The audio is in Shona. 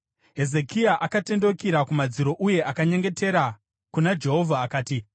Hezekia akatendeukira kumadziro uye akanyengetera kuna Jehovha akati,